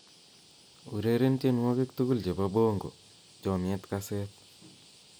ureren tienywogik tugul chebo bongo chomyet kaset